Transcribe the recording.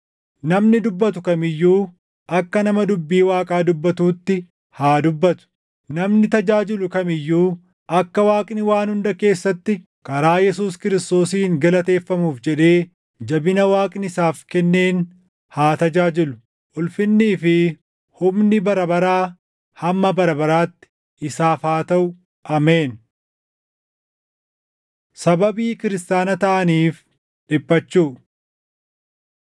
Namni dubbatu kam iyyuu akka nama dubbii Waaqaa dubbatuutti haa dubbatu. Namni tajaajilu kam iyyuu akka Waaqni waan hunda keessatti karaa Yesuus Kiristoosiin galateeffamuuf jedhee jabina Waaqni isaaf kenneen haa tajaajilu. Ulfinnii fi humni bara baraa hamma bara baraatti isaaf haa taʼu. Ameen. Sababii Kiristaana Taʼaniif Dhiphachuu